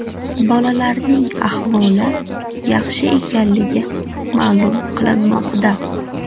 Bolalarning ahvoli yaxshi ekanligi ma’lum qilinmoqda.